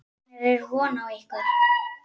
Hvenær er von á ykkur?